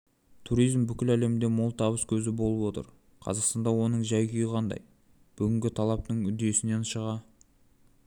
туризм бүкіл әлемде мол табыс көзі болып отыр қазақстанда оның жай-күйі қандай бүгінгі талаптың үдесінен шыға